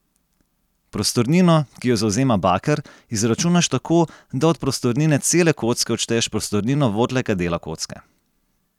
Prostornino, ki jo zavzema baker, izračunaš tako, da od prostornine cele kocke odšteješ prostornino votlega dela kocke.